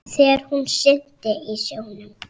Þegar hún synti í sjónum.